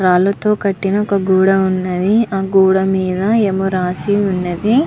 రాళ్ళతో కట్టిన ఒక గూడం ఉన్నది అ గూడం మీద ఏమే రాసి ఉన్నది.